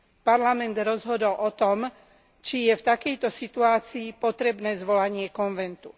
Parlament rozhodol o tom, či je v takejto situácii potrebné zvolanie konventu.